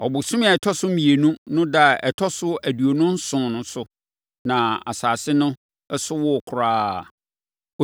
Ɔbosome a ɛtɔ so mmienu no ɛda a ɛtɔ so aduonu nson so no na asase no so woo koraa.